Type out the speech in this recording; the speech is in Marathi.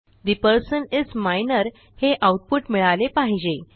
ठे पर्सन इस मायनर हे आऊटपुट मिळाले पाहिजे